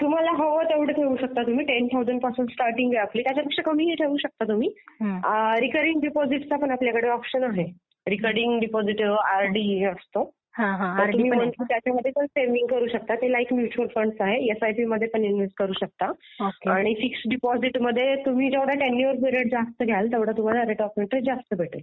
तुम्हाला हवं तेवढं ठेऊ शकता तुम्ही. टेन थाऊसंड पासून स्टार्टींग आहे आपली. त्याच्यापेक्षा कमी ही ठेऊ शकता तुम्ही. रिकरिंग डिपॉझिटचा पण आपल्याकडं ऑप्शन आहे. रिकरिंग डिपॉझिट आरडी असतो. तर तुम्ही त्याच्यामध्ये पण सेव्हिंग करू शकता. ते लाईक म्युच्युअल फ़ंड आहे. एसआयपी मध्ये पण इन्व्हेस्ट करू शकता. आणि फिक्स्ड डिपॉझिट मध्ये तुम्ही जेवढा टेन्युअर पिरियड जास्त घ्याल तेवढा तुम्हाला रेट ऑफ इंट्रेस्ट जास्त भेटेल.